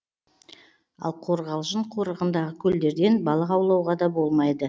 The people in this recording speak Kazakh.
ал қорғалжын қорығындағы көлдерден балық аулауға да болмайды